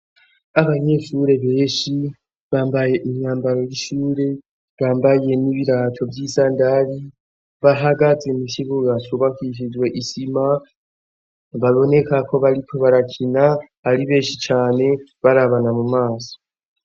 Abanyeshure beshi bambaye imyambaro y'ishure bambaye n'ibiraco vy'isa ndari bahagaze mu kibugasubakishizwe isima babonekako bariko barakina ari benshi cane barabana mu maso.